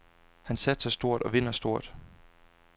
Han satser stort og vinder stort.